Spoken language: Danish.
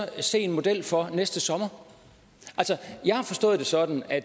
se en model for næste sommer jeg har forstået det sådan at